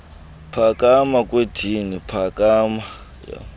phakama kwedini phakama